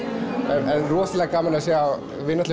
en rosalega gaman að sjá við